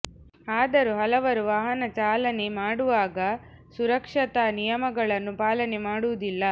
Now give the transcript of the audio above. ಆದರೂ ಹಲವರು ವಾಹನ ಚಾಲನೆ ಮಾಡುವಾಗ ಸುರಕ್ಷತಾ ನಿಯಮಗಳನ್ನು ಪಾಲನೆ ಮಾಡುವುದಿಲ್ಲ